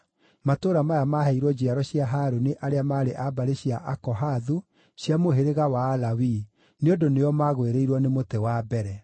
(matũũra maya maaheirwo njiaro cia Harũni arĩa maarĩ a mbarĩ cia Akohathu cia mũhĩrĩga wa Alawii, nĩ ũndũ nĩo magwĩrĩirwo nĩ mũtĩ wa mbere):